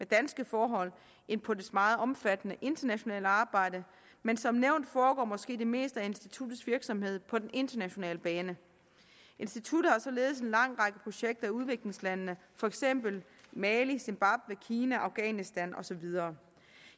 danske forhold end på dets meget omfattende internationale arbejde men som nævnt foregår måske det meste af instituttets virksomhed på den internationale bane instituttet har således en lang række projekter i udviklingslandene for eksempel i mali zimbabwe kina afghanistan og så videre